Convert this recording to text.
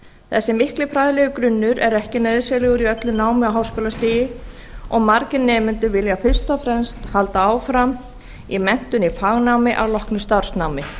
þessi mikli fræðilegi grunnur er ekki nauðsynlegur í öllu námi á háskólastigi og margir nemendur vilja fyrst og fremst halda áfram í menntun á fagnámi að loknu starfsnámi